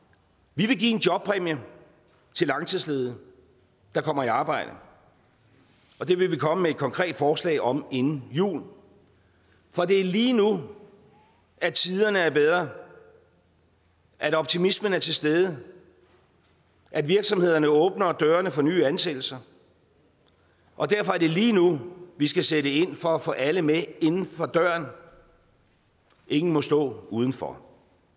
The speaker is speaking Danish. vi vil give en jobpræmie til langtidsledige der kommer i arbejde det vil vi komme med et konkret forslag om inden jul for det er lige nu at tiderne er bedre at optimismen er til stede at virksomhederne åbner dørene for nye ansættelser og derfor er det lige nu vi skal sætte ind for at få alle med inden for døren ingen må stå udenfor